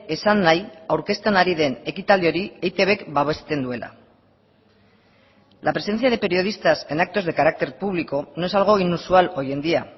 esan nahi aurkezten ari den ekitaldi hori eitbk babesten duela la presencia de periodistas en actos de carácter público no es algo inusual hoy en día